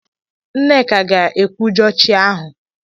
Nneka ga-ekwujọ chi ahụ.